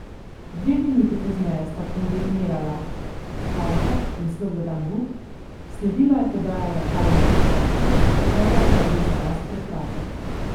Dve minuti pozneje sta kombinirala Horvat in Slobodan Vuk, sledila je podaja v kazenski prostor, Horvat pa je bil za las prekratek.